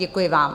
Děkuji vám.